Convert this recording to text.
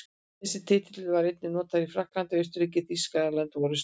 Þessi titill var einnig notaður í Frakklandi, Austurríki, Þýskalandi og Rússlandi.